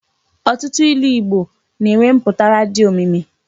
Ọtụtụ ilu Igbo na-enwe mpụtara dị omimi.